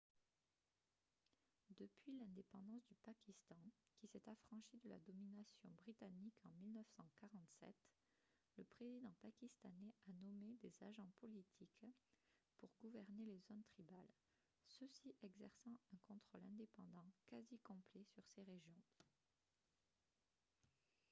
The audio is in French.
depuis l'indépendance du pakistan qui s'est affranchi de la domination britannique en 1947 le président pakistanais a nommé des « agents politiques » pour gouverner les zones tribales ceux-ci exerçant un contrôle indépendant quasi complet sur ces régions